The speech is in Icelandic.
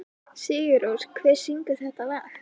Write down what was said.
Sigurrós, hver syngur þetta lag?